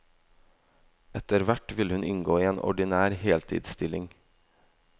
Etter hvert vil hun inngå i en ordinær heltidsstilling.